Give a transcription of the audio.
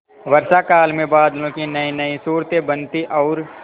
वर्षाकाल में बादलों की नयीनयी सूरतें बनती और